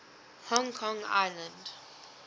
hong kong island